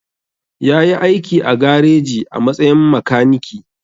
Ya yi aiki a gareji a matsayin makaniki.